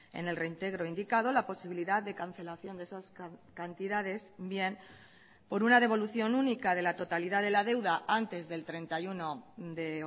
en el reintegro indicado la posibilidad de cancelación de esas cantidades bien por una devolución única de la totalidad de la deuda antes del treinta y uno de